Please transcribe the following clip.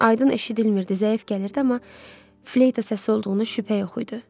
Aydın eşidilmirdi, zəif gəlirdi, amma fleyta səsi olduğuna şübhə yox idi.